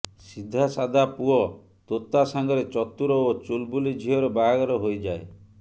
ସିଧା ସାଦା ପୁଅ ତୋତା ସାଙ୍ଗରେ ଚତୁର ଓ ଚୁଲବୁଲି ଝିଅର ବାହାଘର ହୋଇଯାଏ